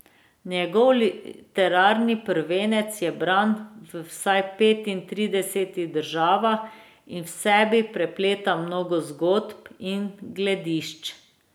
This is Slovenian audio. Njegov literarni prvenec je bran v vsaj petintridesetih državah in v sebi prepleta mnogo zgodb in gledišč.